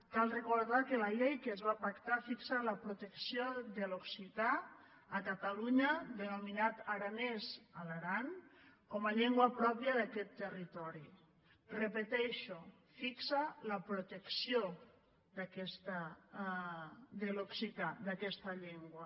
cal recordar que la llei que es va pactar fixa la protecció de l’occità a catalunya denominat aranès a l’aran com a llengua pròpia d’aquest territori ho repeteixo fixa la protecció de l’occità d’aquesta llengua